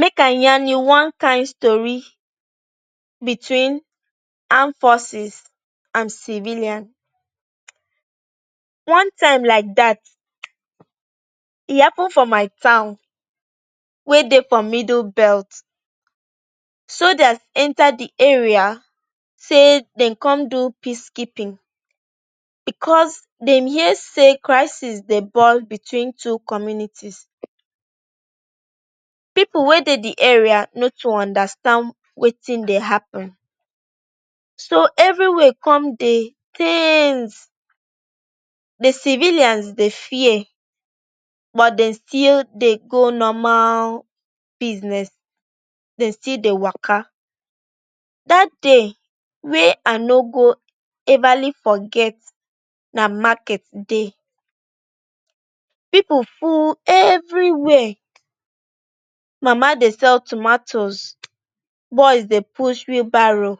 Make i yarn you one kain tori between armed forces and civilian one time like dat. E happun for my town wey dey for middle belt. Soldiers enta di area say dem come do peacekeeping bicos dem hear say crisis dey ball between two communities. Pipu wey dey di area no too understand wetin dey happun, so evriwia come dey ten sed. Di civilians dey fear but dem still dey go normal business, dey still dey waka. Dat day wey i no go everly forget, na market dey. Pipu full evriwia. Mama dey sell tomatoes, boys dey push wheelbarrow,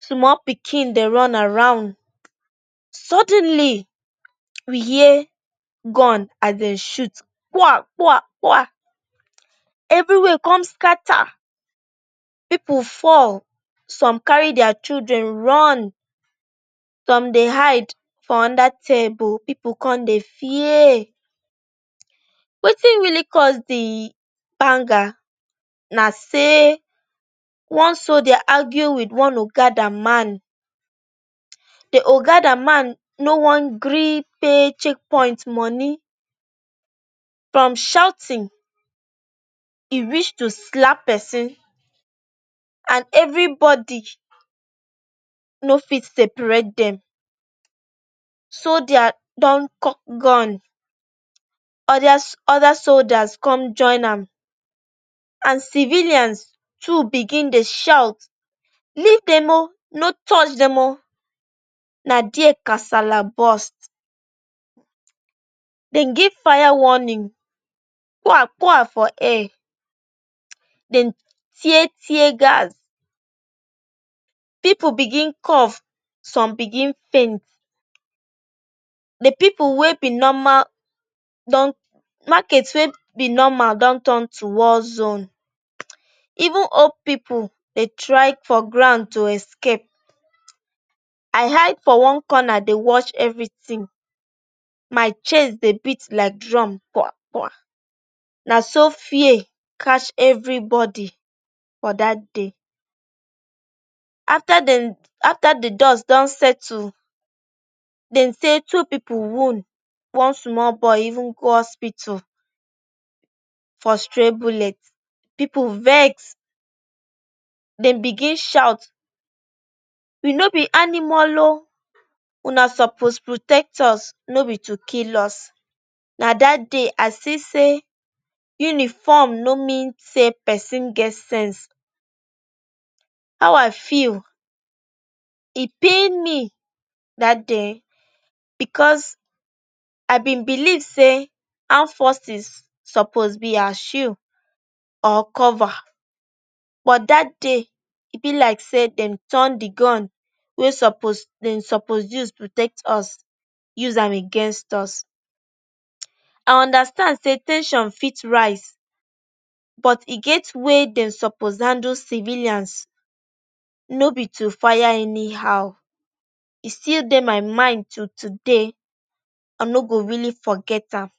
small pikin dey run around. Sudenly, we hear gun as dem shoot kpoa-kpoa-kpoa. Evriwia come scatter. Pipu fall, some carry dia pikin run, some dey hide for under table. Pipu come dey fear wetin really cause di banger. Na say one soldier argue wit one okada man. Di okada man no wan gree pay check point money. From shouting, e reach to slap pesin and evribodi no fit separate dem. Soldiers don cock gun, other soldiers come join am, and civilians too begin dey shout, “Leave dem o! No touch dem o!” Na dia kasala bust. Dem give fire warning kpoa-kpoa-kpoa for air. Dem tear tear-gas. Pipu begin cough, some begin faint. Di market wey be normal don turn to war zone. Even old pipu dey try for ground to escape. I hide for one corner dey watch evritin. My chest dey beat like drum kpoa-kpoa. So fear catch evribodi for dat day. Afta di dust don settle, dem say two pipu wound. One small boy even go hospital for stray bullet. Pipu vex. Dem begin shout, “We no be animal oh! Una suppose protect us, no be to kill us!” Na dat day i see say uniform no mean say pesin get sense. E pain me dat day bicos i been believe say armed forces suppose be our shoe or cover, but dat day e be like say dem turn di gun wey dem suppose use protect us, use am against us. I understand say ten sion fit rise, but e get way dem suppose handle civilians, no be to fire anyhow. E still dey my mind till today. I no go really forget am.